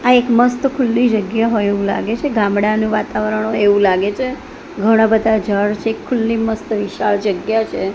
આ એક મસ્ત ખુલ્લી જગ્યા હોઈ એવુ લાગે છે ગામડાનું વાતાવરણ હોઇ એવુ લાગે છે ઘણા બધા ઝાડ છે ખુલ્લી મસ્ત વિશાળ જગ્યા છે.